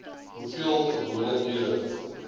hoeveel gewone ure